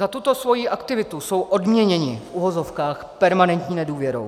Za tuto svoji aktivitu jsou odměněni, v uvozovkách, permanentní nedůvěrou.